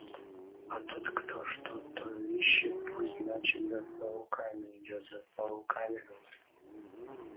а тот кто что-то ищет пусть значит за пауками идёт за пауками говорю